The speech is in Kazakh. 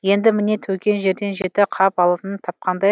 енді міне төкен жерден жеті қап алтын тапқандай